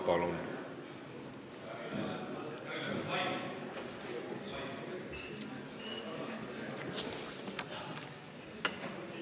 Palun!